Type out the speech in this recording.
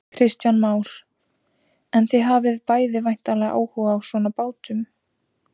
Kristján Már: En þið hafið bæði væntanlega áhuga á svona bátum?